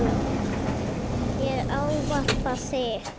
Ég ávarpa þig